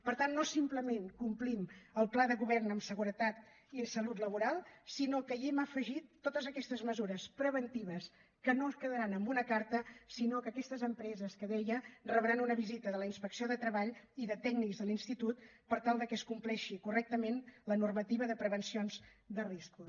per tant no simplement complim el pla de govern en seguretat i salut laboral sinó que hi hem afegit totes aquestes mesures preventives que no quedaran en una carta sinó que aquestes empreses que deia rebran una visita de la inspecció de treball i de tècnics de l’institut per tal que es compleixi correctament la normativa de prevencions de riscos